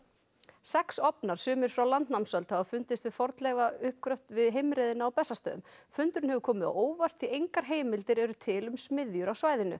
sex ofnar sumir frá landnámsöld hafa fundist við fornleifauppgröft við heimreiðina á Bessastöðum fundurinn hefur komið á óvart því engar heimildir eru til um smiðjur á svæðinu